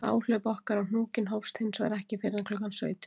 Áhlaup okkar á hnúkinn hófst hins vegar ekki fyrr en klukkan sautján.